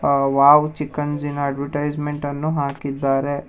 ಆ wow chicken ಜಿನ advertisement ಅನ್ನು ಹಾಕಿದ್ದಾರೆ.